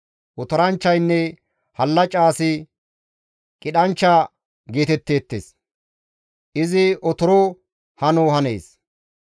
Otoranchchaynne hallaca asi qidhanchcha geetettees; izi otoro hano hanees.